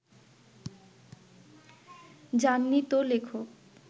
যাননি তো লেখক